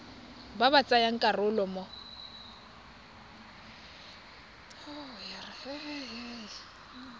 ba ba tsayang karolo mo